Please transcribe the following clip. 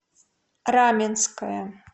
раменское